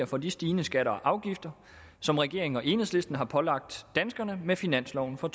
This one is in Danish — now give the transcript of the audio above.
for de stigende skatter og afgifter som regeringen og enhedslisten har pålagt danskerne med finansloven for